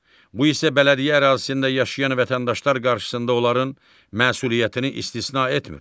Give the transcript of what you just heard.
Bu isə bələdiyyə ərazisində yaşayan vətəndaşlar qarşısında onların məsuliyyətini istisna etmir.